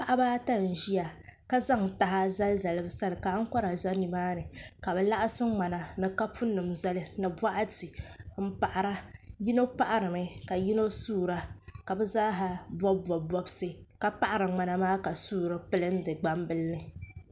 Paɣaba ata n ʒia ka zaŋ taha zali zali bɛ sani ka ankora za nimaani ka bɛ laɣasi ŋmana ni kapu nima zali ni boɣati m paɣara yino paɣarimi ka yino suura ka bɛ zaaha bobi bobi bobsi ka paɣari ŋmana maa ka suuri pilindi gbambila ni.